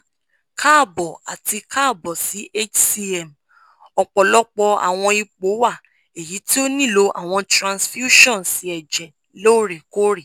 kaabo ati kaabo si hcm ọpọlọpọ awọn ipo wa eyiti o nilo awọn transfusions ẹjẹ loorekoore